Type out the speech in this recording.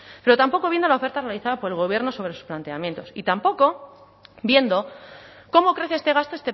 pero tampoco viendo la oferta realizada por el gobierno sobre sus planteamientos y tampoco viendo cómo crece este gasto